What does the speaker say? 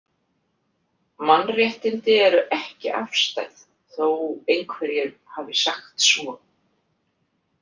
Mannréttindi eru ekki afstæð, þó einhverjir hafi sagt svo.